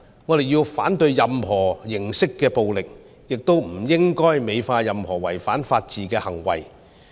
我們要反對任何形式的暴力，亦不應該美化任何違反法治的行為。